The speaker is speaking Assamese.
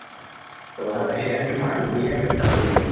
আ গুলিয়াই হত্যা কৰিলে